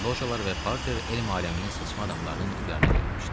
Lojalar və parter elm aləminin seçmə adamlarının ixtiyarına verilmişdi.